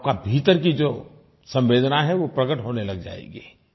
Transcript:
आपका भीतर की जो संवेदना है वो प्रकट होने लग जाएगी